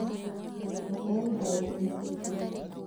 Bataraitha ya naitrojeni